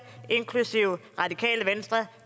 inklusive det radikale venstre